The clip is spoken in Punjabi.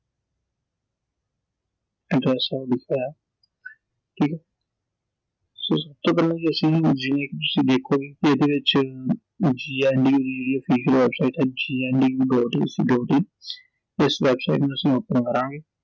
ਠੀਕ ਐ so ਸਭ ਤੋਂ ਪਹਿਲਾਂ ਅਸੀਂ ਤੁਸੀਂ ਦੇਖੋਗੇ ਕਿ ਇਹਦੇ ਵਿੱਚ GNDUofficial website ਐ gndu. ac. in ਇਸ ਵੈਬਸਾਈਟ ਨੂੰ ਅਸੀਂ open ਕਰਾਂਗੇ